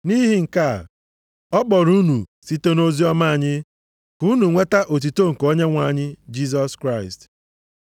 Nʼihi nke a, ọ kpọrọ unu site nʼoziọma anyị ka unu nweta otuto nke Onyenwe anyị Jisọs Kraịst.